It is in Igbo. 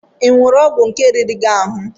Ịṅụru ọgwụ ike riri gị ahụ?